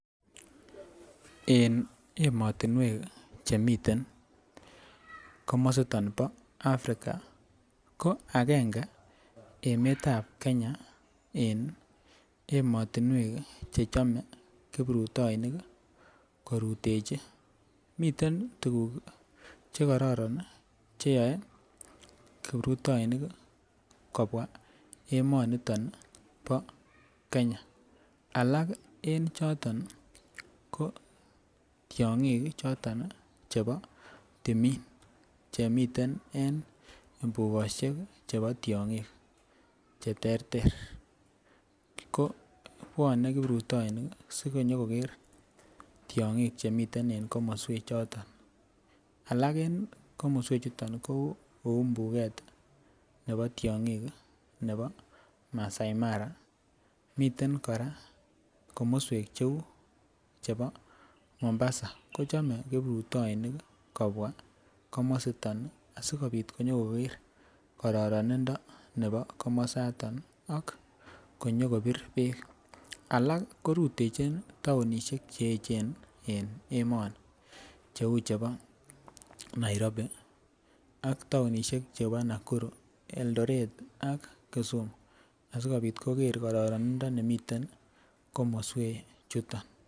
En emotunwek chemiten komositon bo Africa ko agenge emetab Kenya en emotunwek che chome kiprutoinik kii korutechin. Miten tukuk chekororon cheyoe kiprutoinik kobwa emoniton bo Kenya alak en choto ko tyongik chebo timin chemiten en imbukoshek chebo tyongik cheterter ko bwone kiprutoinik sinyo koker tyongik chemiten en komoswek choto. Alak en komoswek chuton ko kou mbuket nebo tyong6 nebo Masai Mara miten Koraa komoswek cheu chebo momb8 kochom kiprutoinik kobwa komositon nii sikopit konyokokere kororonindo nebo komosto ak konyo kobir beek alak korutechin townishek cheyechen en emoni cheu chebo Nairobi ak townishek chebo Nakuru Eldoret ak Kisumu asikopit koker kororon nemiten komoswek chuton.